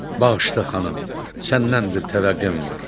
Bağışla xanım, səndən bir təvəqqəm var.